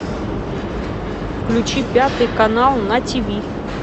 включи пятый канал на ти ви